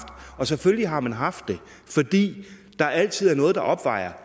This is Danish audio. og selvfølgelig har man haft det fordi der altid er noget der opvejer